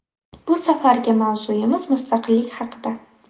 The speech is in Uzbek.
Bu safargi mavzuimiz mustaqillik haqida.